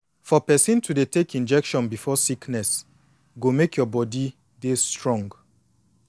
for person to dey take injection before sickness go make your body dey strong